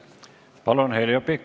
Palun, Heljo Pikhof!